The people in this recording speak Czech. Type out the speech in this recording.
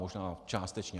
Možná částečně.